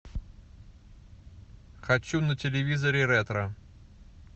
хочу на телевизоре ретро